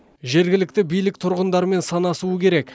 жергілікті билік тұрғындармен санасуы керек